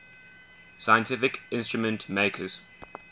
scientific instrument makers